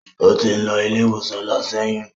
Ó ti ń lọ sí ilé ìwòsàn lọ ṣẹ́yún.